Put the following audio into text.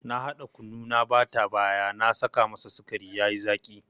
Na hada kunu na bata baya na saka masa sikari yayi zaki.